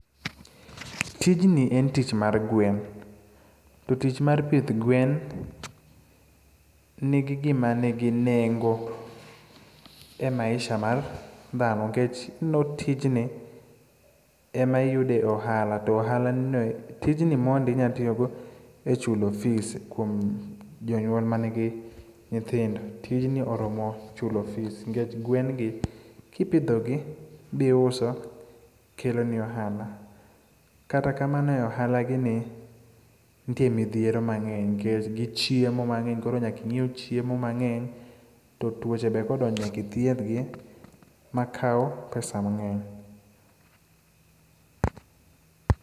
Tijni em tich mar gwen, to tich mar pith gwen nigi gima nigi nengo e maisha mar dhano nikech ineno tijni, ema iyude ohala, to ohalani no, tijni mondi inya tiyogo e chulo fees kuom jonyuol manigi nyithindo. Tijni oromo chulo fees nikech gwen gi, kipidhogi bi uso, keloni ohala. Kata kamano e ohalagi ni nitie midhiero mang'eny nikech gichiemo mang'eny koro nyaka inyiew chiemo mang'eny, to tuoche be kodonjo nyaka ithiedhgi makawo pesa mang'eny.